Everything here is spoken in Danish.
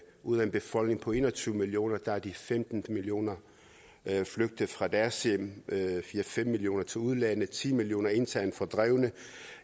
ud af en befolkning på en og tyve millioner er de femten millioner flygtet fra deres hjem fire fem millioner til udlandet og ti millioner internt fordrevne